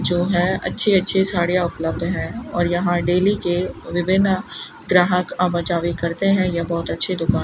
जो है अच्छे अच्छे साड़ीयां उपलब्ध है और यहां डेली के विभिन्न ग्राहक आवा जावी करते हैं यह बहोत अच्छी दुकान --